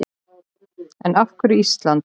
En af hverju Ísland?